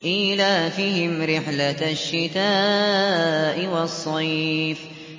إِيلَافِهِمْ رِحْلَةَ الشِّتَاءِ وَالصَّيْفِ